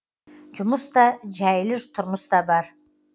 жұмыс та жәйлі тұрмыс та бар